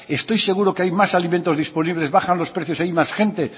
estoy seguro que hay más alimentos disponibles bajan los precios y hay más gente